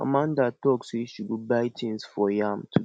amanda talk say she go buy things for yam today